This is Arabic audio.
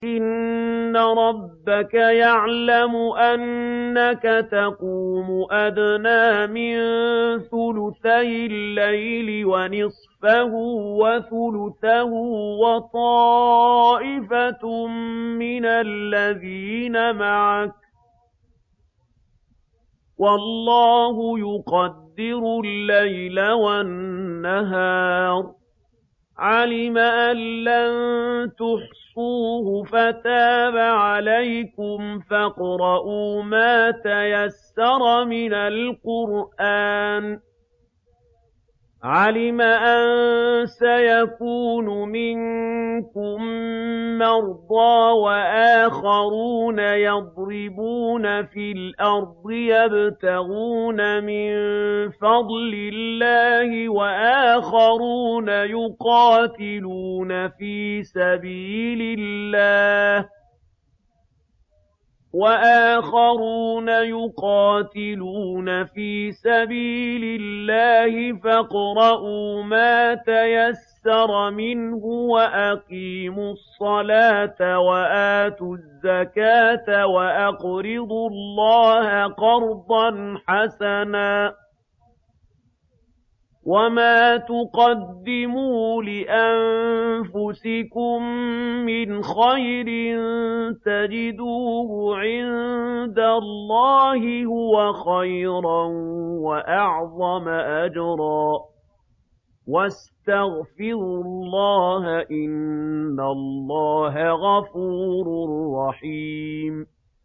۞ إِنَّ رَبَّكَ يَعْلَمُ أَنَّكَ تَقُومُ أَدْنَىٰ مِن ثُلُثَيِ اللَّيْلِ وَنِصْفَهُ وَثُلُثَهُ وَطَائِفَةٌ مِّنَ الَّذِينَ مَعَكَ ۚ وَاللَّهُ يُقَدِّرُ اللَّيْلَ وَالنَّهَارَ ۚ عَلِمَ أَن لَّن تُحْصُوهُ فَتَابَ عَلَيْكُمْ ۖ فَاقْرَءُوا مَا تَيَسَّرَ مِنَ الْقُرْآنِ ۚ عَلِمَ أَن سَيَكُونُ مِنكُم مَّرْضَىٰ ۙ وَآخَرُونَ يَضْرِبُونَ فِي الْأَرْضِ يَبْتَغُونَ مِن فَضْلِ اللَّهِ ۙ وَآخَرُونَ يُقَاتِلُونَ فِي سَبِيلِ اللَّهِ ۖ فَاقْرَءُوا مَا تَيَسَّرَ مِنْهُ ۚ وَأَقِيمُوا الصَّلَاةَ وَآتُوا الزَّكَاةَ وَأَقْرِضُوا اللَّهَ قَرْضًا حَسَنًا ۚ وَمَا تُقَدِّمُوا لِأَنفُسِكُم مِّنْ خَيْرٍ تَجِدُوهُ عِندَ اللَّهِ هُوَ خَيْرًا وَأَعْظَمَ أَجْرًا ۚ وَاسْتَغْفِرُوا اللَّهَ ۖ إِنَّ اللَّهَ غَفُورٌ رَّحِيمٌ